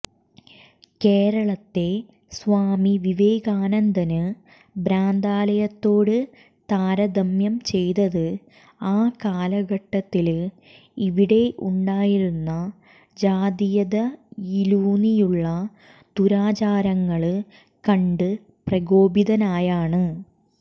കേരളത്തെ സ്വാമി വിവേകാനന്ദന് ഭ്രാന്താലയത്തോട് താരതമ്യം ചെയ്തത് ആ കാലഘട്ടത്തില് ഇവിടെയുണ്ടായിരുന്ന ജാതീയതയിലൂന്നിയുള്ള ദുരാചാരങ്ങള് കണ്ട് പ്രകോപിതനായാണ്